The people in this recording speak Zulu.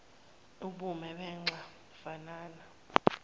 ubume benxa fanana